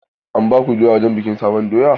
An baku doya wurin bikin sabon doya?